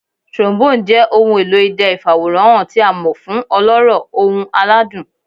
Trombone jẹ ohun elo idẹ ifaworanhan ti a mọ fun ọlọrọ, ohun aladun.